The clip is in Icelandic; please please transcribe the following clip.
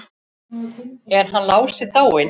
Er hann Lási dáinn?